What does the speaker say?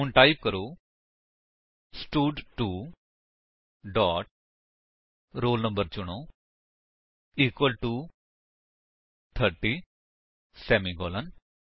ਹੁਣ ਟਾਈਪ ਕਰੋ ਸਟਡ2 ਡੋਟ roll no ਚੁਣੋ ਇਕੁਅਲ ਟੋ 30 ਸੇਮੀਕਾਲਨ